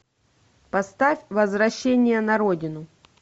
поставь возвращение на родину